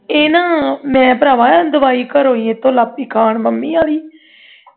ਇਹ ਨਾ ਮੈਂ ਭਰਾਵਾ ਦਵਾਈ ਘਰੋਂ ਏਥੋਂ ਵੀ ਲਗ ਪਈ ਖਾਣ ਮੰਮੀ ਵਾਲੀ